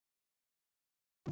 Þín Inga Rún.